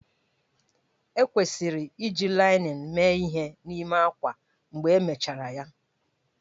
Ekwesịrị iji linin mee ihe n'ime ákwá mgbe emechara ya?